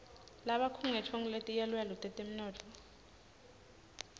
labakhungetfwe nguletiyaluyalu tetemnotfo